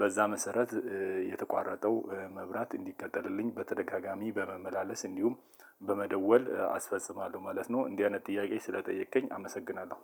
በዛ መሰረት የተቋረጠው መብራት እንዲቀጠልልኝ በተደጋጋሚ በመመላለስ እንዲሁም በመደወል አስፈጽማለሁ ማለት ነው። እንዲህ አይነት ጥያቄ ስለጠየከኝ አመሰግናለሁ።